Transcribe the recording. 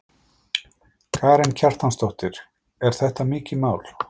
Karen Kjartansdóttir: Er þetta mikið mál?